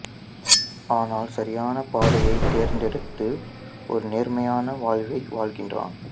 ஆனால் சரியான பாதையை தேர்ந்தடுத்து ஒரு நேர்மையான வாழ்வை வாழ்கிறான்